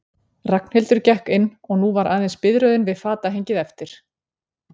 Ragnhildur gekk inn og nú var aðeins biðröðin við fatahengið eftir.